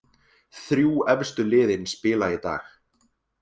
Þrjú efstu liðin spila í dag